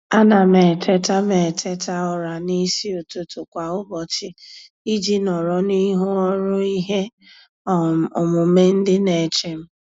A na m eteta m eteta ụra n'isi ụtụtụ kwa ụbọchị iji nọrọ n'ihu ọrụ ihe um omume ndị na-eche m.